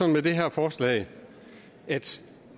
med det her forslag at